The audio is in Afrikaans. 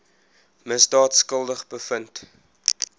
misdaad skuldig bevind